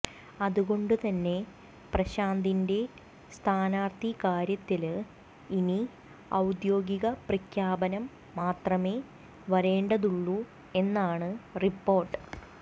അതുകൊണ്ടു തന്നെ പ്രശാന്തിന്റെ സ്ഥാനാര്ത്ഥിക്കാര്യത്തില് ഇനി ഔദ്യോഗിക പ്രഖ്യാപനം മാത്രമേ വരേണ്ടതുള്ളൂ എന്നാണ് റിപ്പോര്ട്ട്